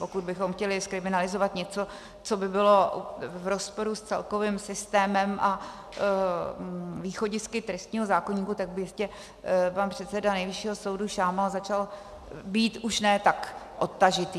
Pokud bychom chtěli zkriminalizovat něco, co by bylo v rozporu s celkovým systémem a východisky trestního zákoníku, tak by jistě pan předseda Nejvyššího soudu Šámal začal být už ne tak odtažitý.